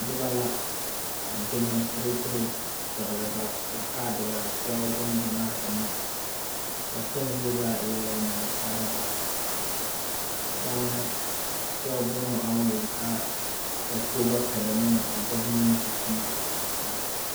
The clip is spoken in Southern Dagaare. Noba la a demosteraterɛ, a pɛgle ba kaadere a sɛge bongyamaa eŋ, ba kpɛŋ zie zaa eɛɛ nasaalba, baŋ sɛge boma aŋ wuli ka ba poɔ ba pɛle ne a govementi toma.